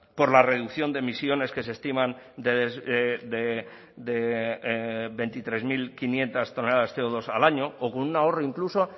por la reducción de emisiones que se estiman de veintitrés mil quinientos toneladas de ce o dos al año o con un ahorro incluso